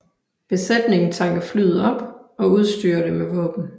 Besætningen tanker flyet op og udstyrer det med våben